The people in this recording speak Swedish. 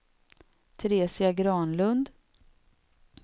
Teresia Granlund